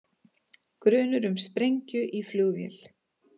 Grunur um sprengju í flugvél